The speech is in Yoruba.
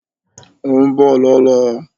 Óún bọ̀ lọ́lá